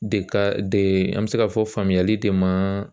De ka de an bɛ se k'a fɔ faamuyali de ma